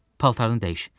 Paltarını dəyiş.